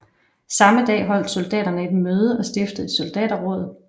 Samme dag holdt soldaterne et møde og stiftede et Soldaterråd